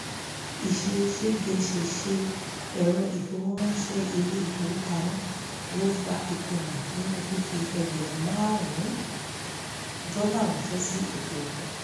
ìṣe ṣégeṣèṣe ẹ̀rọ ìfowóránsẹ́ ilé ìfowópamọ́ ló fa ìkùnà nínú fífi ẹgbẹ̀rún márùn-ún dọ́là ránsẹ́ sí òkè òkun